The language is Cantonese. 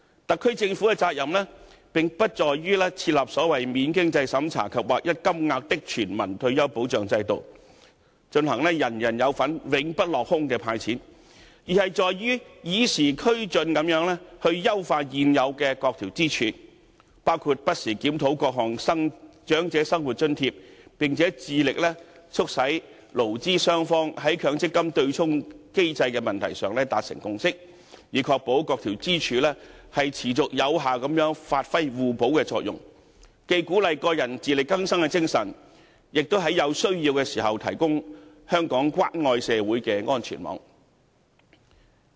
特區政府的責任，並不在於設立"免經濟審查及劃一金額的全民退休保障"制度，人人有份、永不落空地派錢，而是在於與時俱進地優化現有各支柱，包括不時檢討各項長者生活津貼，並且致力促使勞資雙方在強積金對沖機制的問題上達成共識，以確保各支柱持續有效地發揮互補作用，既鼓勵個人自力更生的精神，亦在有需要時提供香港關愛社會的安全網。